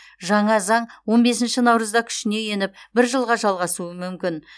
жаңа заң он бесінші наурызда күшіне еніп бір жылға жалғасуы мүмкін